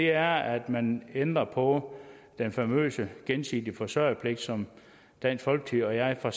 er at man ændrer på den famøse gensidige forsørgerpligt som dansk folkeparti og jeg fra